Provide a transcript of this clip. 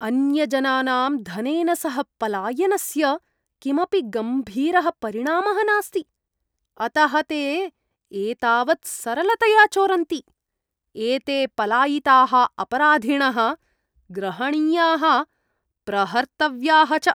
अन्यजनानाम् धनेन सह पलायनस्य किमपि गम्भीरः परिणामः नास्ति, अतः ते एतावत् सरलतया चोरन्ति। एते पलायिताः अपराधिणः ग्रहणीयाः, प्रहर्तव्याः च।